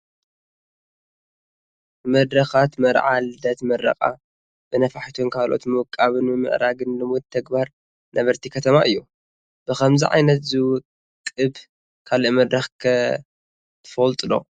ንመድረኻት መርዓ፣ ልደት፣ ምረቓ በነፋሒቶን ካልኦትን ምውቃብን ምምዕራግን ልሙድ ተግባር ነበርቲ ከተማ እዩ፡፡ ብኸምዚ ዓይነት ዝውቅብ ካልእ መድረኽ ከ ከ ትፈልጡ ዶ?